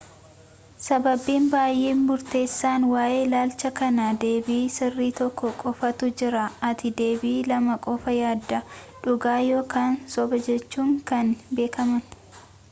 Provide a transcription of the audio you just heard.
sababni baay'ee murteessaan waa'ee ilaalcha kanaa deebii sirrii tokko qofatu jira ati deebii lama qofa yaadda dhugaa ykn sobajechuun kan beekaman